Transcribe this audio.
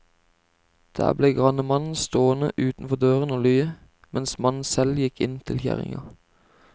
Der ble grannemannen stående utenfor døren og lye, mens mannen selv gikk inn til kjerringa.